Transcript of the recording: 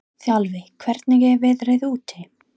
Þjálfi, hvernig er veðrið úti?